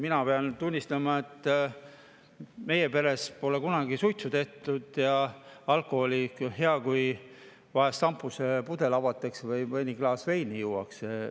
Mina pean tunnistama, et meie peres pole kunagi suitsu tehtud ja alkoholiga on ka nii, et hea, kui vahel šampusepudel avatakse või mõni klaas veini juuakse.